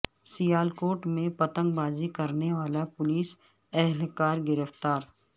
سیالکوٹ میں پتنگ بازی کرنے والا پولیس اہلکار گرفتار